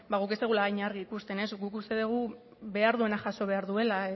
guk ez dugula hain argi ikusten guk uste dugu behar duenak jaso behar duela